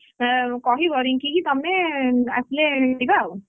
ଏ କହିବ ରିଙ୍କି କି ତମେ ଆସିଲେ ଯିବା ଆଉ ହେଲା।